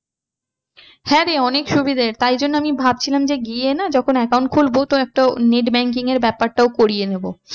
হ্যাঁ রে অনেক সুবিধা তাই জন্য আমি ভাবছিলাম যে গিয়ে না যখন account খুলবো তো একটা net banking এর ব্যাপারটাও করিয়ে নেবো।